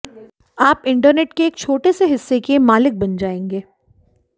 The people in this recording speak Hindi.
आप इंटरनेट के एक छोटे से हिस्से के मालिक बन जाएंगे